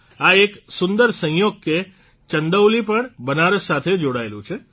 આ એક સુંદર સંયોગ કે ચંદૌલી પણ બનારસ સાથે જોડાયેલું છે